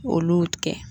Olu tigɛ